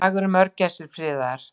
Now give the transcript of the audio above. Í dag eru mörgæsir friðaðar.